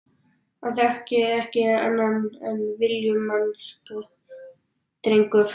Hann þekkir ekki annað en villimennsku, drengurinn.